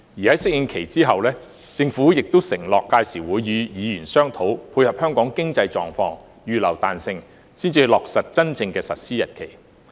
在適應期後，政府亦承諾屆時會與議員商討，配合香港經濟狀況，預留彈性，才落實真正的實施日期。